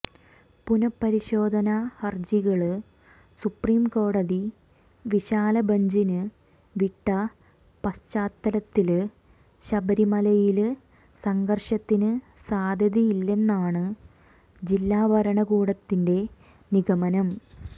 പുനഃപരിശോധനാ ഹര്ജികള് സുപ്രീം കോടതി വിശാല ബഞ്ചിന് വിട്ട പശ്ചാത്തലത്തില് ശബരിമലയില് സംഘര്ഷത്തിന് സാധ്യതയില്ലെന്നാണ് ജില്ലാ ഭരണകൂടത്തിന്റെ നിഗമനം